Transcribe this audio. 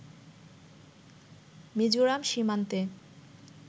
মিজোরাম সীমান্তে